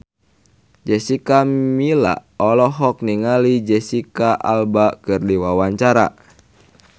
Jessica Milla olohok ningali Jesicca Alba keur diwawancara